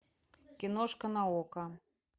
киношка на окко